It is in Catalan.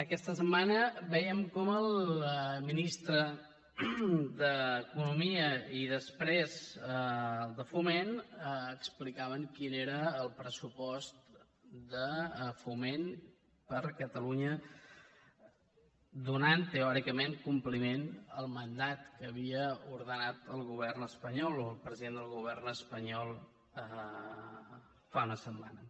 aquesta setmana vèiem com el ministre d’economia i després el de foment explicaven quin era el pressupost de foment per a catalunya donant teòricament compliment al mandat que havia ordenat el govern espanyol o el president del govern espanyol fa una setmana